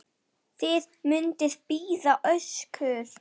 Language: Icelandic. Þið munuð bíða ósigur.